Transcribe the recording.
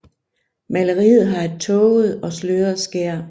Maleriet har et tåget og sløret skær